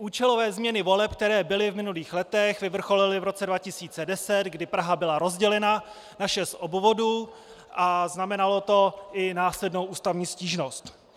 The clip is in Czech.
Účelové změny voleb, které byly v minulých letech, vyvrcholily v roce 2010, kdy Praha byla rozdělena na šest obvodů, a znamenalo to i následnou ústavní stížnost.